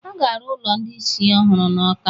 A ga-arụ ụlọ ndị ị̀sị̀ ọhụrụ n' Ọ́ká.